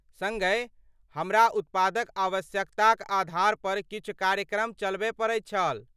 सङ्गहि, हमरा उत्पादक आवश्यकताक आधार पर किछु कार्यक्रम चलबय पड़ैत छल।